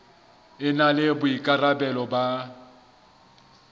e na le boikarabelo ba